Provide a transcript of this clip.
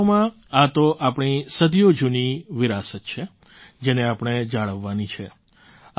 વાસ્તવમાં આ તો આપણી સદીઓ જૂની વિરાસત છે જેને આપણે જાળવવાની છે